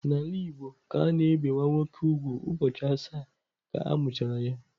N'ala Igbo ka a na-ebe nwa nwoke úgwù ụbọchị asaa ka a mụchara ya..